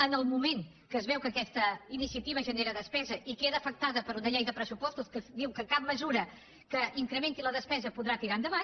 en el moment que es veu que aquesta iniciativa genera despesa i queda afectada per una llei de pressupostos que diu que cap mesura que incrementi la despesa podrà tirar endavant